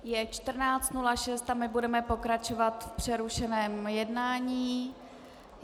Je 14.06 a my budeme pokračovat v přerušeném jednání.